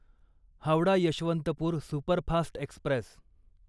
Howrah Yesvantpur superfast Express